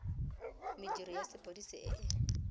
mediro ya sepodisi e e